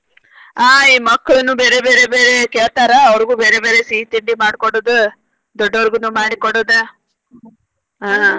ಆಹ್ ಈ ಮಕ್ಳುನು ಬೇರೆ ಬೇರೆ ಬೇರೆ ಕೇಳ್ತಾರ ಅವ್ರಿಗು ಬೇರೆ ಬೇರೆ ಸಿಹಿ ತಿಂಡಿ ಮಾಡಿ ಕೊಡೋದ ದೊಡ್ಡವ್ರಿಗನು ಮಾಡಿ ಕೊಡೋದ ಆಹ್.